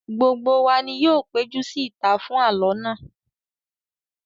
Gbogbo wa ni yóò péjú sí ìta fún àlọ́ náà